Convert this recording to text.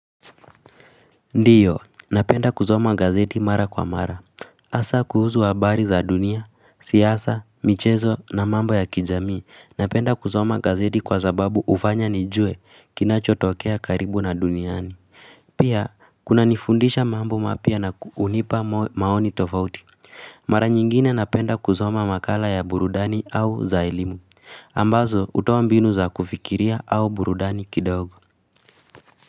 Ndiyo napenda kusoma gazeti mara kwa mara. Hasaa kuhusu habari za dunia, siasa, michezo na mambo ya kijamii napenda kusoma gazeti kwa zababu hufanya nijue kinachotokea karibu na duniani. Pia kunanifundisha mambo mapya na hunipa maoni tofauti. Mara nyingine napenda kusoma makala ya burudani au za elimu. Ambazo hutoa mbinu za kufikiria au burudani kidogo.